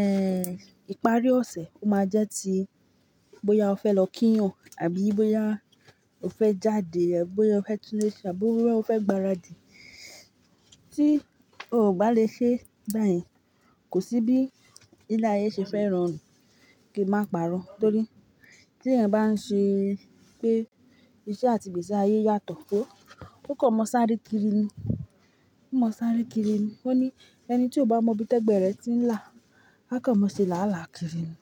eh ipari ọ̀sẹ̀, ó máa jẹ́ ti bóyá o fẹ́ lọ kíyàn àbí bóyá o fẹ́ jáde, àbí bóyá o fẹ́ tun èṣì àbí bóyá o fẹ́ gbaradì. Tí o kò bá lè ṣe báyìí, kò sí bí ilé ayé ṣe fẹ́ ran run kí a máa pà'rọ́. Torí tí ẹ̀yin bá ń ṣe pé iṣẹ́ àti ìgbésí ayé yàtọ̀, ó, ó kàn mọ́ sáré kiri ni. Ó mọ́ sáré kiri ni. Ó ní ẹni tí ó bá mọ ibi tẹ́gbẹ̀ẹ́ rẹ̀ ti ń là á kàn mọ́ ṣe làálàá kiri ni.